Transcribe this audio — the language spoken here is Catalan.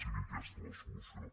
sigui aquesta la solució